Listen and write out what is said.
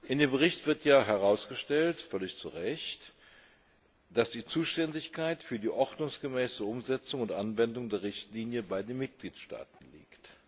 In dem Bericht wird herausgestellt völlig zu Recht dass die Zuständigkeit für die ordnungsgemäße Umsetzung und Anwendung der Richtlinie bei den Mitgliedstaaten liegt.